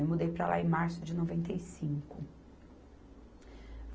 Eu mudei para lá em março de noventa e cinco.